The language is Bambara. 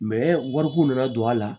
wariko nana don a la